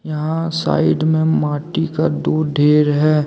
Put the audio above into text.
यहां साइड में माटी का दो ढ़ेर है।